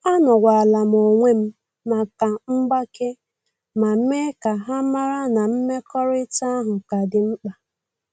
Anowalam onwem maka mgbake, ma mee ka ha mara na mmekọrịta ahụ ka dị mkpa